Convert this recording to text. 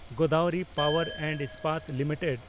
Godavari power and Ispat limited